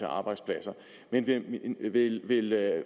arbejdspladser men vil